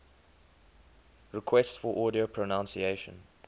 requests for audio pronunciation